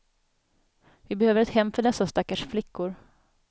Vi behöver ett hem för dessa stackars flickor.